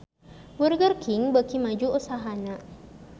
Burger King beuki maju usahana